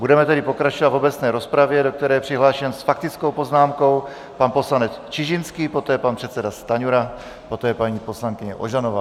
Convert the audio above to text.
Budeme tedy pokračovat v obecné rozpravě, do které je přihlášen s faktickou poznámkou pan poslanec Čižinský, poté pan předseda Stanjura, poté paní poslankyně Ožanová.